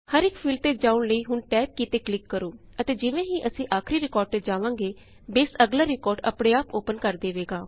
ਹਰ ਇਕ ਫੀਲਡ ਤੇ ਜਾਉਣ ਲਈ ਹੁਣ ਟੈਬ ਕੀ ਤੇ ਕਲਿਕ ਕਰੋ ਅਤੇ ਜਿਵੇਂ ਹੀ ਅਸੀਂ ਆਖਰੀ ਰਿਕਾਰਡ ਤੇ ਜਾਵਾਂਗੇ ਬੇਸ ਅਗਲਾ ਰਿਕਾਰਡ ਆਪਣੇ ਆਪ ਓਪਨ ਕਰ ਦੇਵੇਗਾ